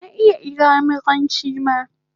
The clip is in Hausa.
Na iya iyamuranchi ma